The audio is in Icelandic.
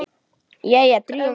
Jæja, drífum okkur!